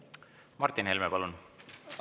Martin Helme, palun!